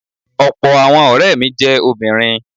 Ọ̀pọ̀ àwọn ọ̀rẹ́ mi jẹ́ obìnrin.